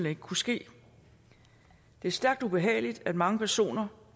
ikke kunne ske det er stærkt ubehageligt at mange personer